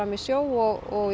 í sjó og